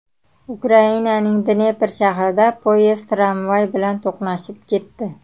Ukrainaning Dnepr shahrida poyezd tramvay bilan to‘qnashib ketdi.